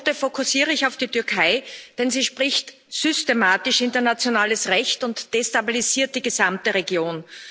In meiner Minute fokussiere ich auf die Türkei, denn sie bricht systematisch internationales Recht und destabilisiert die gesamte Region.